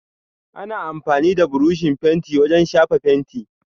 Ana amfani da buroshi fenti wajen shafa fenti.